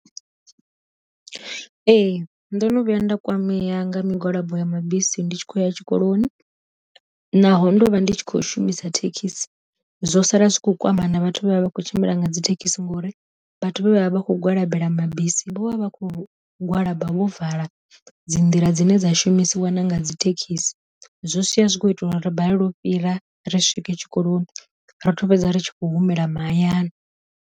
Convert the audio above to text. Ee ndono vhuya nda kwamea nga migwalabo ya mabisi ndi tshi khou ya tshikoloni, naho ndo vha ndi tshi khou shumisa thekhisi, zwo sala zwi kho kwama na vhathu vhe vha vha kho tshimbila nga dzi thekhisi ngori vhathu vhe vha vha kho gwalabela mabisi vho vha vha vha khou gwalaba vho vala dzi nḓila dzine dza shumisi wana nga dzi thekhisi, zwo sia zwi tshi kho ita u ri balelwa u fhira ri swike tshikoloni ra to fhedza ri tshi khou humela mahayani.